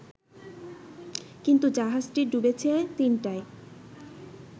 কিন্তু জাহাজটি ডুবেছে তিনটায়